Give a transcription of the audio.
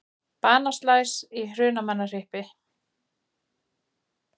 Banaslys í Hrunamannahreppi